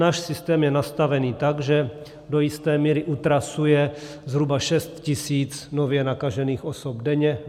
Náš systém je nastavený tak, že do jisté míry utrasuje zhruba 6 tisíc nově nakažených osob denně.